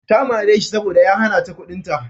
Ta mare shi saboda ya hana ta kuɗinta.